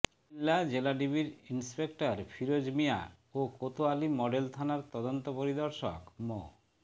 কুমিল্লা জেলাডিবির ইন্সপেক্টর ফিরোজ মিয়া ও কোতয়ালী মডেল থানার তদন্ত পরিদর্শক মো